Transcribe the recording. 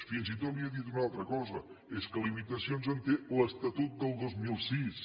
fins i tot li he dit una altra cosa és que limitacions en té l’estatut del dos mil sis